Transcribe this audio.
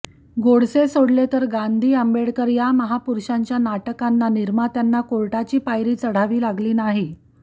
गोडसे सोडले तर गांधी आंबेडकर या महापुरुषांच्या नाटकांना निर्मात्यांना कोर्टाची पायरी चढाव लागली नाही